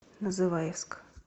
называевск